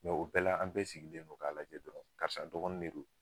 o bɛɛ la an bɛɛ sigilen don k'a lajɛ dɔrɔn karisa dɔgɔnin de don